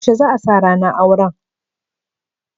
Yaushe za'a sa ranar auran?